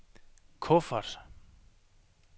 kuffert